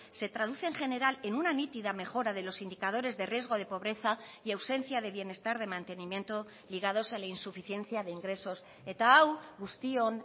se traduce en general en una nítida mejora de los indicadores de riesgo de pobreza y ausencia de bienestar de mantenimiento ligados a la insuficiencia de ingresos eta hau guztion